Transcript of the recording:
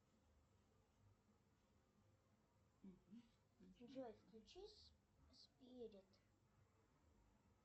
джой включи спирит